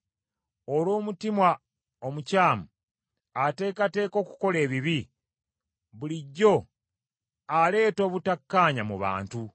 olw’omutima omukyamu, ateekateeka okukola ebibi, bulijjo aleeta obutakkaanya mu bantu!